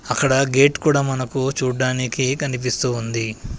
అక్కడ గేట్ కూడా మనకు చూడ్డానికి కనిపిస్తూ ఉంది.